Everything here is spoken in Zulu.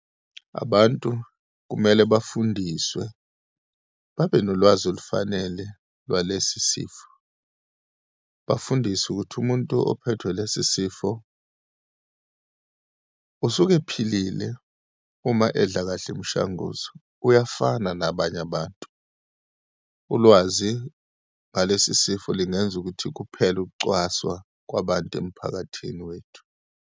Abantu kumele bafundiswe, babe nolwazi olufanele lwalesi sifo. Bafundiswe ukuthi umuntu ophethwe yilesi sifo, usuke ephilile uma edla kahle imishanguzo, uyafana nabanye abantu. Ulwazi ngalesi sifo lingenza ukuthi kuphele ukucwaswa kwabantu emphakathini wethu.